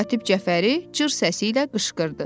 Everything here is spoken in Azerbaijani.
Katib Cəfəri cır səsi ilə qışqırdı.